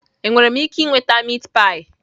Enwere m ike ịnweta meatpie?